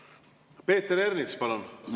Peeter Ernits, palun!